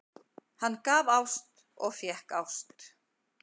Hann gaf ást og fékk ást.